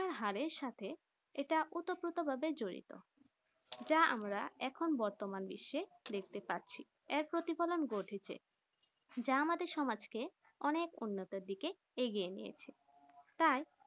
শিক্ষার হারের সাথে এটা ওতপ্রোত ভাবে জড়িত যা আমরা এখন বতর্মান বিশ্ব দেখতে পারছি এর প্রতিফলন ঘটেছে যা আমাদের সমাজ কে অনেক উন্নত দিকে এগিয়ে নিয়েছে তার